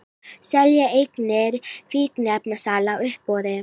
Selja eignir fíkniefnasala á uppboði